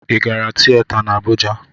Ị gara tiyeta dị n'Abụja?